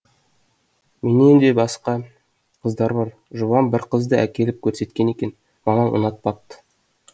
менен де басқа қыздар бар жұбан бір қызды әкеліп көрсеткен екен мамам ұнатпапты